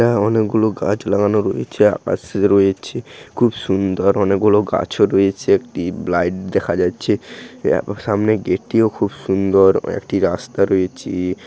আ অনেক গুলো গাছ লাগানো রয়েছে আকাশ রয়েছে খুব সুন্দর অনেক গুলো গাছ ও রয়েছে একটি ব্লাইড দেখা যাচ্চে অ্যাঁ সামনে গেট টি ও খুব সুন্দর একটি রাস্তা রয়ে-ছে।